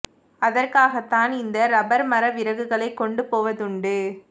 அதற்காகத் தான் இந்த இறப்பர் மர விறகுகளை கொண்டு போவதுண்டு